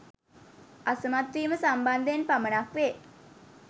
අසමත් වීම සම්බන්ධයෙන් පමණක් වේ